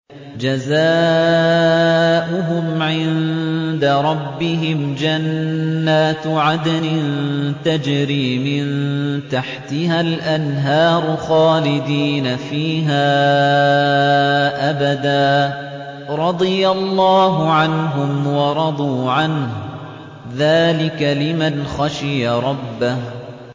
جَزَاؤُهُمْ عِندَ رَبِّهِمْ جَنَّاتُ عَدْنٍ تَجْرِي مِن تَحْتِهَا الْأَنْهَارُ خَالِدِينَ فِيهَا أَبَدًا ۖ رَّضِيَ اللَّهُ عَنْهُمْ وَرَضُوا عَنْهُ ۚ ذَٰلِكَ لِمَنْ خَشِيَ رَبَّهُ